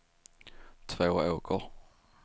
Tvååker